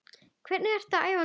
Hvernig ertu að æfa núna?